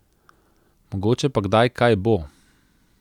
Mogoče pa kdaj kaj bo.